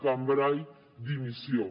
cambray dimissió